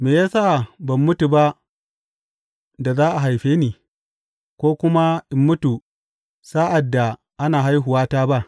Me ya sa ban mutu ba da za a haife ni, ko kuma in mutu sa’ad da ana haihuwata ba?